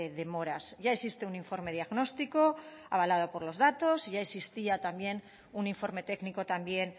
demoras ya existe un informe diagnóstico avalado por los datos ya existía también un informe técnico también